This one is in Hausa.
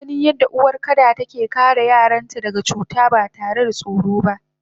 Ijaganin yadda uwar kada take kare yaranta daga cuta batare da tsoro ba